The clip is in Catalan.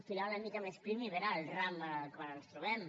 filar una mica més prim i veure el ram en el qual ens trobem